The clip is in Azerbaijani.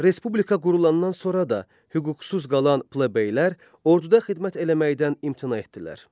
Respublika qurulandan sonra da hüquqsuz qalan plebeylər orduda xidmət eləməkdən imtina etdilər.